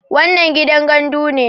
wannan gidan gandu ne